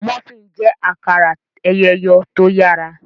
Múfìn jé akara eyọ eyọ tó yàrá.